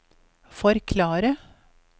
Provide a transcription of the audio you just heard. forklare